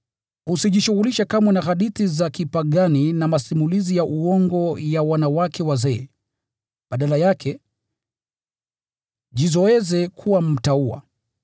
Usijishughulishe kamwe na hadithi za kipagani na masimulizi ya uongo ya wanawake wazee; badala yake, jizoeze kuwa mtauwa.